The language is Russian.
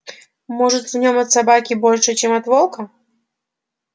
может в нем от собаки больше чем от волка